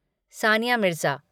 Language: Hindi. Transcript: सानिया मिर्ज़ा